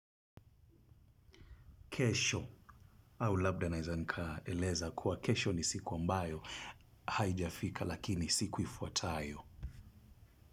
Kesho, au labda naeza nikaeleza kuwa kesho ni siku ambayo, haijafika lakini siku ifuatayo.